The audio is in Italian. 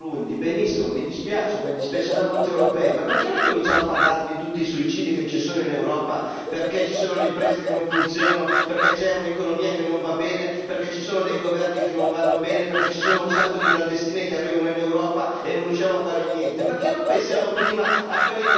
Quando si parla di gente che muore nel Burundi, benissimo, mi dispiace, come dispiacerà a molti europei, ma perché non cominciano a parlare di tutti i suicidi che ci sono in Europa perché ci sono le imprese che non funzionano, perché c'è un'economia che non va bene, perché ci sono dei governi che non vanno bene, perché ci sono un sacco di clandestini che arrivano in Europa e non riusciamo a fare niente.